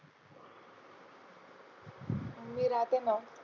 मी राहते ना.